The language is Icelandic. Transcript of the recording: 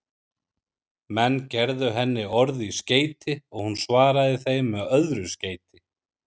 Menn gerðu henni orð í skeyti og hún svaraði þeim með öðru skeyti.